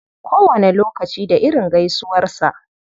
Kowane lokaci da irin gaisuwarsa.